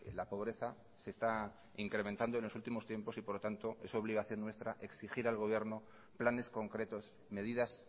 la pobreza se está incrementando en los últimos tiempos y por lo tanto es obligación nuestra exigir al gobierno planes concretos medidas